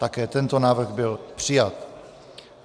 Také tento návrh byl přijat.